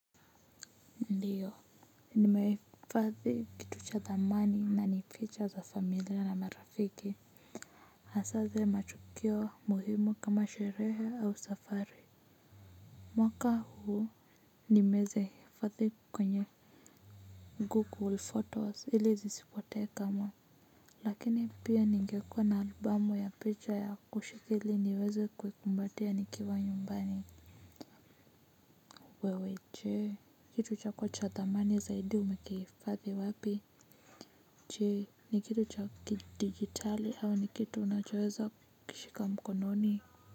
Ndiyo nimehifadhi kitu cha thamani na ni picha za familia na marafiki. Hasaa zile matukio muhimu kama sherehe au safari mwaka huu nimezihifadhi kwenye google photos ili zisipotee kama lakini pia ningekuwa na album ya picha ya kushikia ili niweze kuikumbatia nikiwa nyumbani wewe jee kitu chako cha thamani zaidi umekihifathi wapi? Jee ni kitu cha kidigitali au ni kitu unachoweza kukishika mkononi?